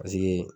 Paseke